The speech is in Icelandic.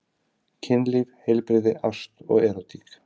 Kynlíf, heilbrigði, ást og erótík.